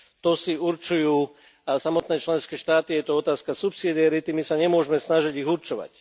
To si určujú samotné členské štáty, je to otázka subsidiarity, my sa nemôžeme snažiť ich určovať.